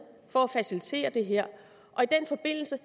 for at facilitere det her og i den forbindelse